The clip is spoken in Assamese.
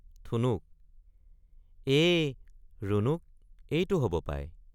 ঠুনুক-এ ৰুণুক এইটো হব পায়।